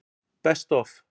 Best Of?